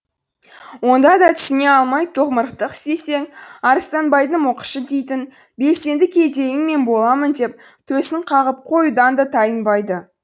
онда да түсіне алмай томырықтық істесең арыстанбайдың мұқышы дейтін белсенді кедейің мен боламын деп төсін қағып қоюдан да тайынбайды